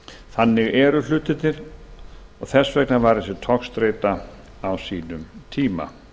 þannig eru hlutirnir og þess vegna var þessi togstreita á sínum tíma